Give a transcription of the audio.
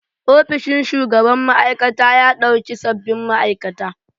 Ofishin shugaban ma'aikata ya ɗauki sabbin ma'aikata.